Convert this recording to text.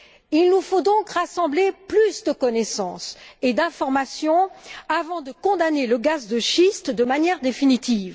Il nous faut donc rassembler plus de connaissances et d'informations avant de condamner le gaz de schiste de manière définitive.